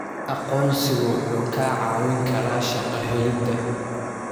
Aqoonsigu wuxuu kaa caawin karaa shaqo helida.